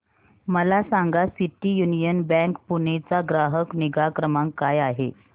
मला सांगा city union bank Pune चा ग्राहक निगा क्रमांक काय आहे